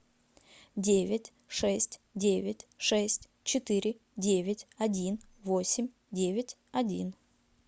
девять шесть девять шесть четыре девять один восемь девять один